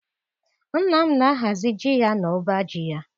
Nna m na-ahazi ji ya n'ọba ji ya